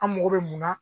An mago bɛ mun na